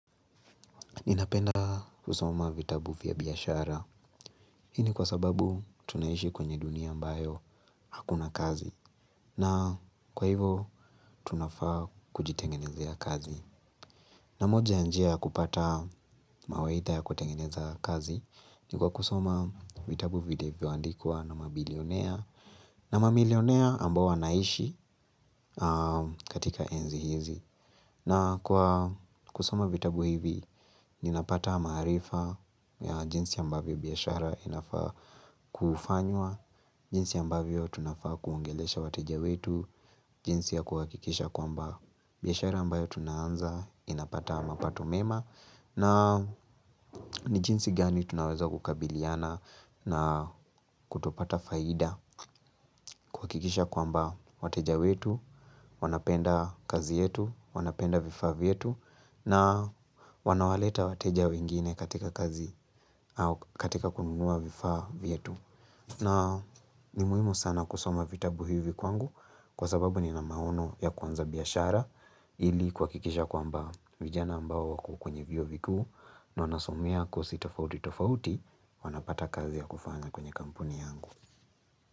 Ninapenda kusoma vitabu vya biashara. Hii ni kwa sababu tunaishi kwenye dunia ambayo hakuna kazi. Na kwa hivo tunafaa kujitengenezea kazi. Na moja ya njia kupata mawaidha ya kutengeneza kazi. Ni kwa kusoma vitabu vilibyoandikwa na mabilionea. Na mabilionea ambao wanaishi katika enzi hizi. Na kwa kusoma vitabu hivi, ninapata maarifa ya jinsi ambavyo biashara inafaa kufanywa, jinsi ambavyo tunafaa kuongelesha wateja wetu, jinsi ya kuhakikisha kwamba biashara ambayo tunaanza inapata mapato mema. Na ni jinsi gani tunaweza kukabiliana na kutopata faida kuhakikisha kwamba wateja wetu, wanapenda kazi yetu, wanapenda vifa vyetu na wanawaleta wateja wengine katika kazi au katika kununua vifa vietu. Na ni muhimu sana kusoma vitabu hivi kwangu kwa sababu ni na maono ya kwanza biyashara ili kwa kikisha kwamba vijana ambao wako kwenye vio viku na wanasomea kuoi tofauti tofauti wanapata kazi ya kufanya kwenye kampuni yangu.